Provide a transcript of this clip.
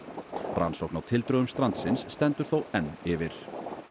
rannsókn á tildrögum strandsins stendur þó enn yfir